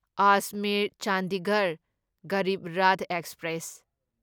Ajmer Chandigarh Garib Rath express